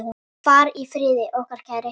Far í friði, okkar kæri.